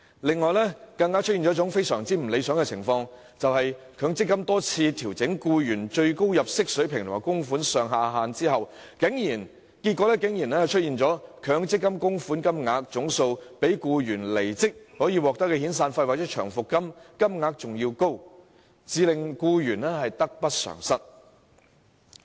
另外一個相當不理想的情況，就是強積金多次調整僱員最高入息水平和供款上下限，結果導致強積金供款總額高於僱員離職時應得的遣散費或長期服務金，令僱員得不償失。